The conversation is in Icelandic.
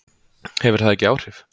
Hefur það ekki áhrif?